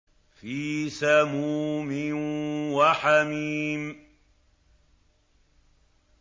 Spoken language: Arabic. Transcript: فِي سَمُومٍ وَحَمِيمٍ